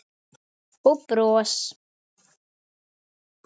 Og bros.